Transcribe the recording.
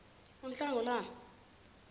unhlangulana